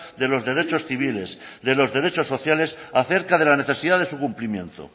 de los derechos civiles de los derechos sociales acerca de la necesidad de su cumplimiento